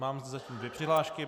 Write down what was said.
Mám zatím dvě přihlášky.